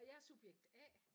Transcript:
Og jeg subjekt A